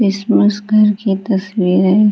घर की तस्वीर है।